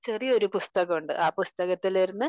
ചെറിയൊരു പുസ്തകം ഉണ്ട് അഹ് പുസ്തകത്തിൽ ഇരുന്നു